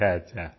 अच्छा अच्छा